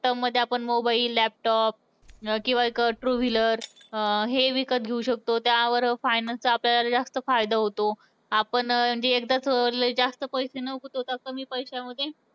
term मध्ये आपण mobile, laptop किंवा एक two wheeler अं हे विकत हे विकत घेऊ शकतो. त्यावर finance चा आपल्याला जास्त फायदा होतो. आपण एकदाच लई जास्त पैसे न गुतवता कमी पैशामध्ये